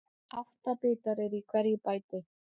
Átta bitar eru í hverju bæti.